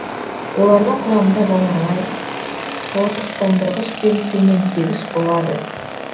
олардың құрамында жанармай тотықтандырғыш пен цементтегіш болады